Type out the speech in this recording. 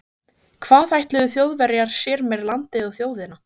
Hvað ætluðu Þjóðverjar sér með landið og þjóðina?